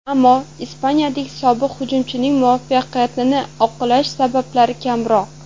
Ammo ispaniyalik sobiq hujumchining muvaffaqiyatini oqlash sabablari kamroq.